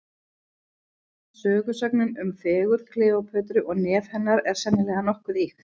Sögusögnin um fegurð Kleópötru og nef hennar, er sennilega nokkuð ýkt.